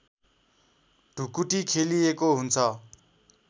ढुकुटी खेलिएको हुन्छ